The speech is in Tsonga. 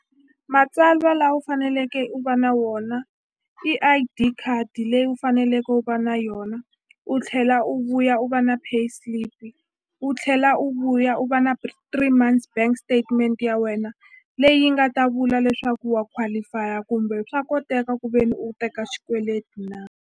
Matsalwa lawa u faneleke u va na wona i I_D card leyi u faneleke u va na yona u tlhela u vuya u va na pay slip u tlhela u vuya u va na three months bank statement ya wena leyi nga ta vula leswaku wa qualify-a kumbe swa koteka ku ve ni u teka xikweleti na.